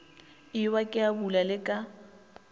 ewa ke abula le ka